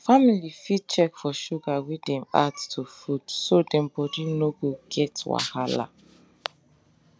family fit check for sugar wey dem add to food so dem body no go get wahala